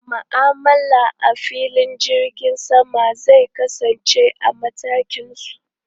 Ma'amala a filin jirgin sama zai kasance a matakin su.